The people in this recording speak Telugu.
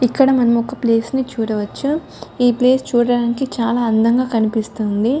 ఇక్కడ మనము ఒక ప్లేస్ ని చూడవచ్చు. ఈ ప్లేస్ చూడటానికి చాలా అందంగా కనిపిస్తుంది.